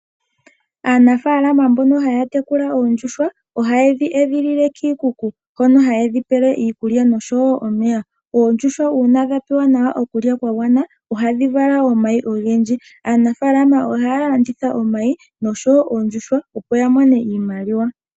Aanafalama mboka haya tekela oondjuhwa oha yedhi edhilile kiikuku hono hadhi pelwa omeya oshowo iikulya. Oondjuhwa ngele dha pewa iikulya oyindji ohadhi vala omayi ogendji.